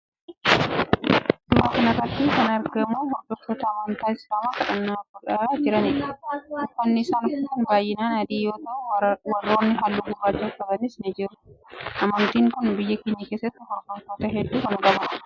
suuraa kana irratti kan agarru hordoftoota amantii islaamaa kadhannaa godhaa jiranidha. uffanni isaan uffatan baayinaan adii yoo ta'u warrooni halluu gurraacha uffatanis ni jiru. amantiin kun biyya keenya keessatti hordoftoota heddu kan qabudha.